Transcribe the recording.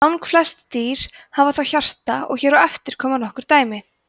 langflest dýr hafa þó hjarta og hér á eftir koma nokkur dæmi